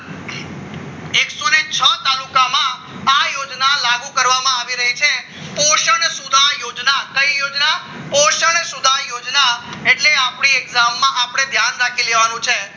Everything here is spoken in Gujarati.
લાગુ કરવામાં આવી રહી છે પોષણ સુધા યોજના કઈ યોજના સુધા યોજના એટલે આપણે exam ધ્યાન રાખી લેવાનું છે